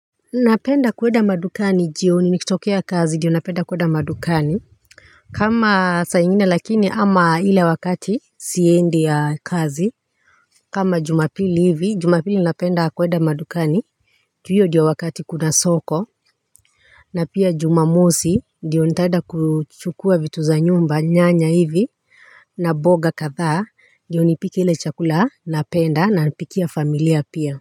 Napenda kuenda madukani jioni nikitokea kazi ndio napenda kuenda madukani. Kama saa ingine lakini ama ile wakati siendi kazi. Kama jumapili hivi jumapili napenda kuenda madukani juu hio ndio wakati kuna soko. Na pia jumamosi ndio nitaenda kuchukua vitu za nyumba nyanya hivi. Na mboga kadhaa ndio nipike ile chakula napenda napikia familia pia.